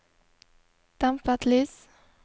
dempet lys